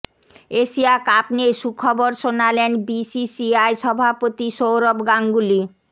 Asia cup নিয়ে সুখবর শোনালেন বিসিসিআই সভাপতি সৌরভ গাঙ্গুলী